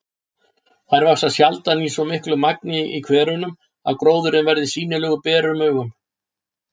Þær vaxa sjaldan í svo miklu magni í hverunum að gróðurinn verði sýnilegur berum augum.